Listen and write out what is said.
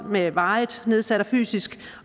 med varigt nedsat fysisk